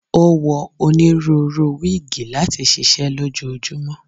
o wọ oniruuru wigi lati ṣiṣẹ lojoojumọ.